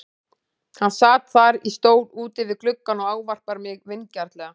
Hann sat þar í stól úti við gluggann og ávarpar mig vingjarnlega.